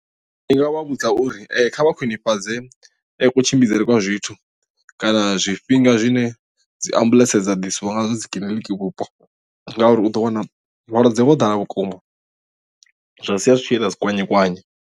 I nga vha vhudza uri kha vha khwinifhadze kutshimbidzele kwa zwithu kana zwifhinga zwine dzi ambuḽentse dza ḓiswa nga zwo dzi kiḽiniki vhupo ngauri u ḓo wana vhalwadze vho ḓala vhukuma zwa sia zwi tshi ita dzi kwanye kwanye.